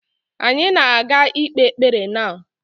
Anyị na ga ikpe ekpere now.